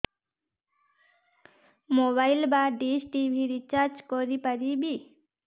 mobile ବା dish TV recharge କରି ପାରିବି